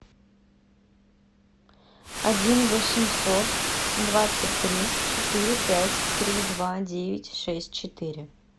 один восемьсот двадцать три четыре пять три два девять шесть четыре